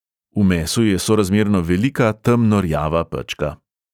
V mesu je sorazmerno velika temno rjava pečka.